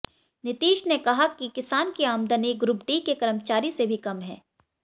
नीतीश ने कहा कि किसान की आमदनी ग्रुप डी के कर्मचारी से भी कम है